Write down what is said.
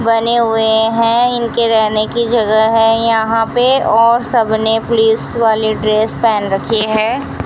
बने हुए हैं इनके रहने की जगह है यहां पे और सबने पुलिस वाली ड्रेस पहन रखी है।